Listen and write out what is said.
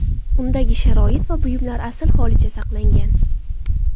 Undagi sharoit va buyumlar asl holicha saqlangan.